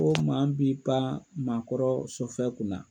Ko maa mu b'i pan maakɔrɔ sɔfɛn kunna